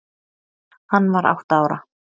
Hann var átta ára.